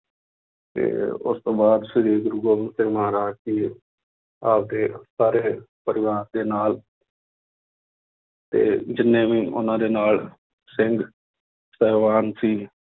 ਤੇ ਉਸ ਤੋਂ ਬਾਅਦ ਸ੍ਰੀ ਗੁਰੂ ਗੋਬਿੰਦ ਸਿੰਘ ਮਹਾਰਾਜ ਜੀ ਆਪਦੇ ਸਾਰੇ ਪਰਿਵਾਰ ਦੇ ਨਾਲ ਤੇ ਜਿੰਨੇ ਵੀ ਉਹਨਾਂ ਦੇ ਨਾਲ ਸਿੰਘ ਸਾਹਿਬਾਨ ਸੀ